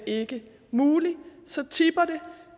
ikke mulig så tipper det